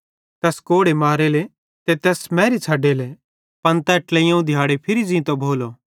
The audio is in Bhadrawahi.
तैस कोड़े मारेले ते तैस मैरी छ़डेले पन तै ट्लेइयोवं दिहाड़े फिरी ज़ींतो भोलो